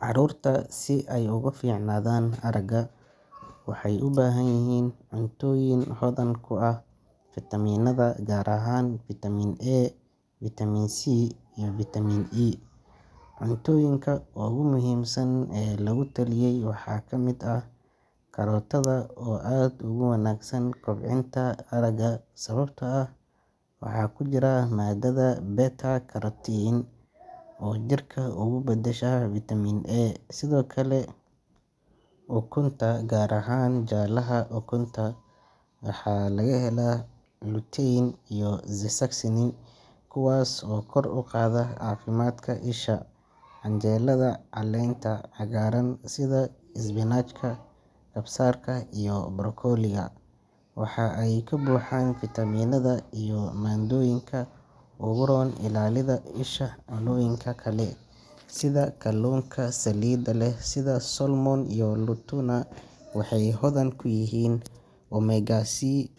Caruurta si ay uga fiicnaadaan aragga waxay u baahan yihiin cuntooyin hodan ku ah fiitamiinada gaar ahaan vitamin A, vitamin C, iyo vitamin E. Cunnooyinka ugu muhiimsan ee lagu taliyay waxaa ka mid ah karootada, oo aad ugu wanaagsan kobcinta aragga sababtoo ah waxa ku jira maadada beta-carotene oo jirka uga badasha vitamin A. Sidoo kale, ukunta gaar ahaan jaallaha ukunta waa laga helaa lutein iyo zeaxanthin, kuwaas oo kor u qaada caafimaadka isha. Canjeelada caleenta cagaaran sida isbinaajka, kabsarka iyo brokoliga, waxa ay ka buuxaan fiitamiinada iyo maadooyinka u roon ilaalada isha. Cunnooyinka kale sida kalluunka saliidda leh sida salmon iyo tuna, waxay hodan ku yihiin omega-3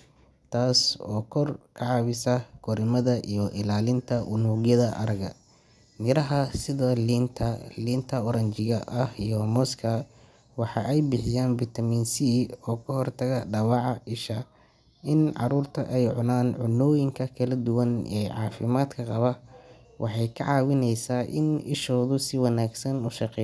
taas oo ka caawisa korriimada iyo ilaalinta unugyada aragga. Miraha sida liinta, liinta oranjiiga ah iyo mooska waxa ay bixiyaan vitamin C oo ka hortaga dhaawaca isha. In caruurta ay cunaan cunnooyinka kala duwan ee caafimaadka qaba waxay ka caawinaysaa in ishoodu si wanaagsan u shaq.